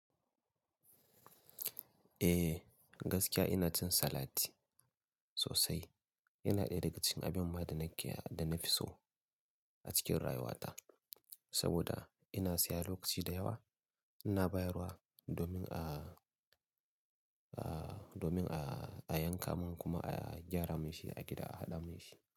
Eh, gaskiya ina cin salat sosai. Yana ɗaya daga cikin abin ma da kia--da na fi so a cikin rayuwata saboda ina siya lokaci da yawa ina bayarwa domin a, a, domin a a yanka mun kuma a gyara munshi, a gida a haɗa munshi.